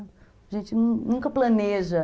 A gente nunca planeja.